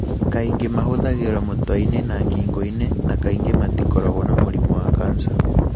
Kaingĩ mahũthagĩrũo mũtwe-inĩ na ngingo-inĩ na kaingĩ matikoragwo na mũrimũ wa kansa.